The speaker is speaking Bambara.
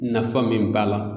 Nafa min b'a la.